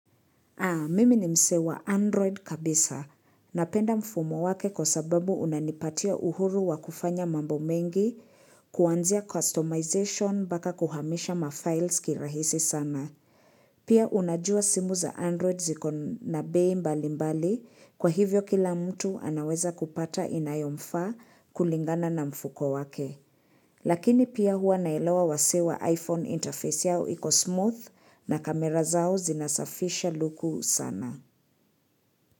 Naam mimi ni mse wa Android kabisa. Napenda mfumo wake kwa sababu unanipatia uhuru wa kufanya mambo mengi, kuanzia customization mpaka kuhamisha mafiles kirahisi sana. Pia unajua simu za Android ziko na bei mbali mbali, kwa hivyo kila mtu anaweza kupata inayomfaa kulingana na mfuko wake. Lakini pia hua naelawa wasee wa iPhone interface yao iko smooth na kamera zao zinasafisha luku sana.